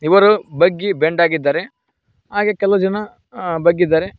ಇವರು ಬಗ್ಗಿ ಬೆಂಡಾಗಿದ್ದಾರೆ ಹಾಗೆ ಕೆಲವು ಜನ ಬಗ್ಗಿದ್ದಾರೆ.